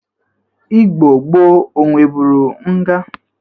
Igbo gboo o nwebụrụ nga?